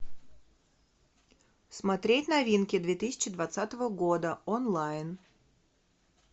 смотреть новинки две тысячи двадцатого года онлайн